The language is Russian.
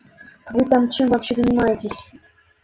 вы там чем вообще занимаетесь